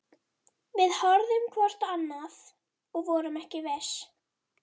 Við horfðum hvort á annað- og vorum ekki viss.